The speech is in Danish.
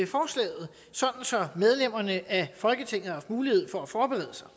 medlemmerne af folketinget har haft mulighed for at forberede sig